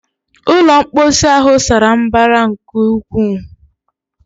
Ulọ mposi ahụ sara mbara nke ukwuu